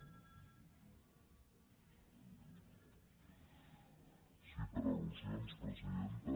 sí per al·lusions presidenta